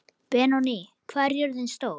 Benóný, hvað er jörðin stór?